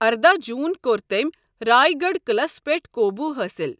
ارداہ جون کوٚر تٔمۍ راے گڑھ قلعس پیٹھ قوبوٗ حٲصِل۔